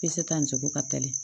Peseta ni cogo ka teli